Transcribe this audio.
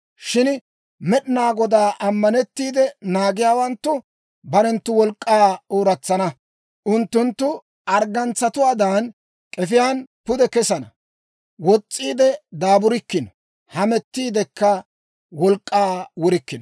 Shin Med'inaa Godaa ammanettiide naagiyaawanttu, barenttu wolk'k'aa ooratsana. Unttunttu arggantsatuwaadan, k'efiyaan pude kesana; wos's'iide daaburikkino; hamettiidekka wolk'k'aa wurikkino.